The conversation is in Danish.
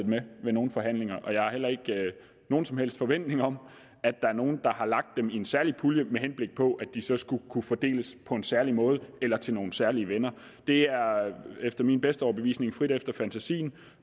med ved nogen forhandlinger og jeg har heller ikke nogen som helst forventning om at der er nogen der har lagt dem i en særlig pulje med henblik på at de så skulle kunne fordeles på en særlig måde eller til nogle særlige venner det er efter min bedste overbevisning frit efter fantasien